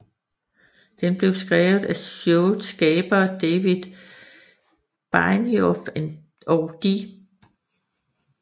Den blev skrevet af showets skabere David Benioff og D